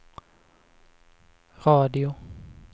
radio